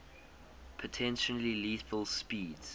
potentially lethal speeds